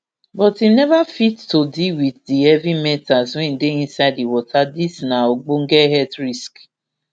but im neva fit to deal wit di heavy metals wey dey inside di water dis na ogbonge health risk